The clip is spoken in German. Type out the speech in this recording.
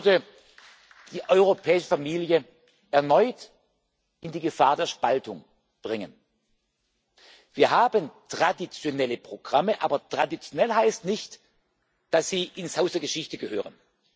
Denn dies würde die europäische Familie erneut in die Gefahr der Spaltung bringen. Wir haben traditionelle Programme, aber traditionell heißt nicht, dass sie ins Haus der Geschichte gehören.